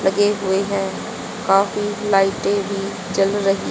लगे हुए है काफी लाइटें भी जल रही--